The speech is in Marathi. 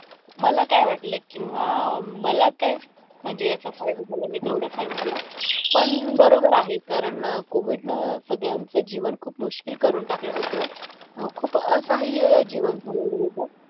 मला काय वाटलंय किंवा मला काय म्हणजे याचा फायदा झाला मी तेवढाच सांगितला. पण बरोबर आहे. कारण कोविडनं सगळ्यांचं जीवन खूप मुश्किल करून टाकलं होतं. खूप असहाय हे जीवन झालेलं होतं.